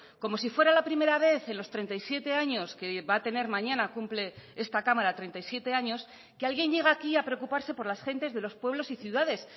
como si fuera la primera vez en los treinta y siete años que va a tener mañana cumple esta cámara treinta y siete años que alguien llega aquí a preocuparse por las gentes de los pueblos y ciudades